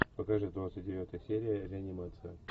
покажи двадцать девятая серия реанимация